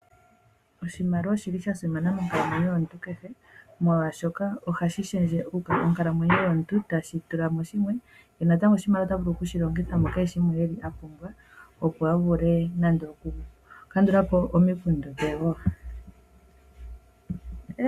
Oshimaliwa oshili sha simana monkalamwenyo yomuntu kehe molwaashoka ohashi shendje monkalamwenyo yomuntu noku tulamo shimwe natango oshimaliwa otavulu okushi longitha mukehe shimwe a pumbwa .